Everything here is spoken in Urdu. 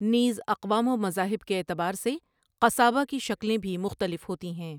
نیز اقوام و مذاہب کے اعتبار سے قصابہ کی شکلیں بھی مختلف ہوتی ہیں۔